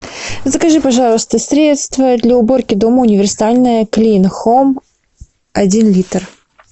закажи пожалуйста средство для уборки дома универсальное клин хоум один литр